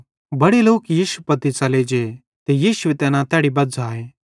बड़े लोक यीशु पत्ती च़ले जे ते यीशुए तैना तैड़ी बज़्झ़ाए